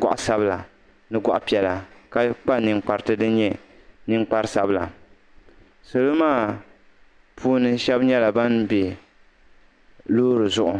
gɔɣ'sabila ni gɔɣ'piɛla ka kpa ninkpariti din nyɛ ninkpar'sabila salo maa puuni shɛba nyɛla ban be loori zuɣu.